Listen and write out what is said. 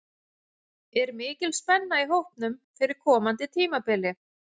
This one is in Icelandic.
Er mikil spenna í hópnum fyrir komandi tímabili?